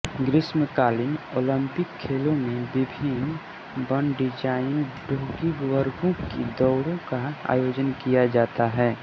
ग्रीष्मकालीन ओलिंपिक खेलों में विभिन्न वनडिजाइन डोंगी वर्गों की दौड़ों का आयोजन किया जाता है